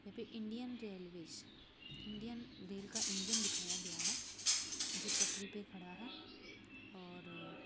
जो की Indian railways Indian rail का इंजन दिखाया गया है जो पटरी पर खड़े है और--